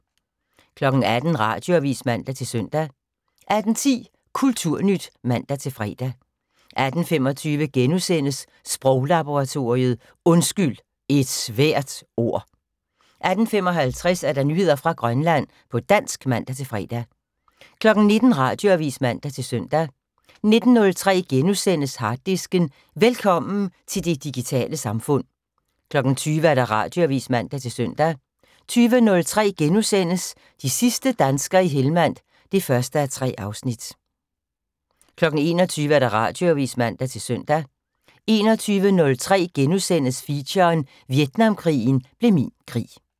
18:00: Radioavis (man-søn) 18:10: Kulturnyt (man-fre) 18:25: Sproglaboratoriet: Undskyld - et svært ord! * 18:55: Nyheder fra Grønland på dansk (man-fre) 19:00: Radioavis (man-søn) 19:03: Harddisken: Velkommen til det digitale samfund * 20:00: Radioavis (man-søn) 20:03: De sidste danskere i Hellmand (1:3)* 21:00: Radioavis (man-søn) 21:03: Feature: Vietnamkrigen blev min krig *